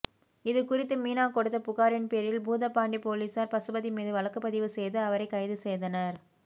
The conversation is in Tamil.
இது குறித்து மீனா கொடுத்த புகாரின் பேரில் பூதப்பாண்டி போலீசார் பசுபதி மீது வழக்குப்பதிவு செய்து அவரை கைது செய்தனர்